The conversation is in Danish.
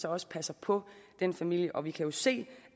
også passer på den familie vi kan jo se